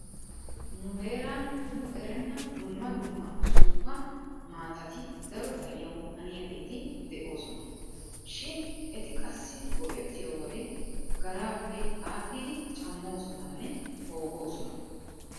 Nu heeran nu erenna dumma dumma suuppa maatati daro xaliyawu haniyageeti de'oosona. Shin eti qassi go'ettiyo wode garaappe aadhdhidi cammoosonanne poogoosona.